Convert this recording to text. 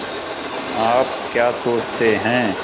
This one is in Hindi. आप क्या सोचते हैं